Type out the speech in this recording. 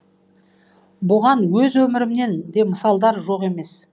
бұған өз өмірімнен де мысалдар жоқ емес